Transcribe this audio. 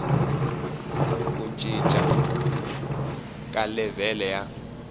ku cinca ka levhele ya